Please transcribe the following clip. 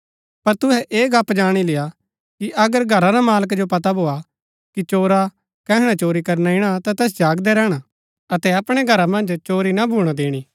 पर तुहै ऐह गप्‍प जाणी लेय्आ कि अगर घरा रा मालका जो पता भोआ कि चोरा कैहणै चोरी करना ईणा ता तैस जागदै रैहणा अतै अपणै घरा मन्ज चोरी ना भूणा दिणी